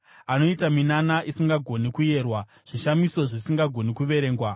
Anoita minana isingagoni kuyerwa, zvishamiso zvisingagoni kuverengwa.